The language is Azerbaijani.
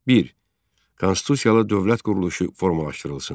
Bir. Konstitusiyalı dövlət quruluşu formalaşdırılsın.